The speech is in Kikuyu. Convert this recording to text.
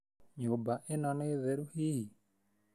Nyũmba ĩno nĩ theru hihi?